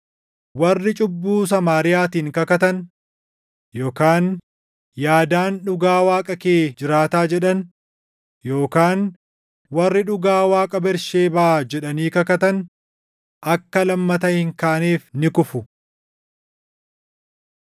Warri cubbuu Samaariyaatiin kakatan yookaan ‘Yaa Daan dhugaa waaqa kee jiraataa’ jedhan, yookaan warri ‘Dhugaa waaqa Bersheebaa’ jedhanii kakatan akka lammata hin kaaneef ni kufu.”